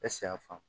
ya fɔ